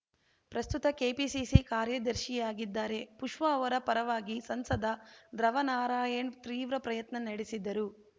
ಪ್ರಸ್ತುತ ಕೆಪಿಸಿಸಿ ಕಾರ್ಯದರ್ಶಿಯಾಗಿದ್ದಾರೆ ಪುಷ್ಪಾ ಅವರ ಪರವಾಗಿ ಸಂಸದ ಧ್ರವನಾರಾಯಣ್‌ ತೀವ್ರ ಪ್ರಯತ್ನ ನಡೆಸಿದರು